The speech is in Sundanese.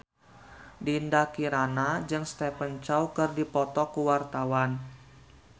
Dinda Kirana jeung Stephen Chow keur dipoto ku wartawan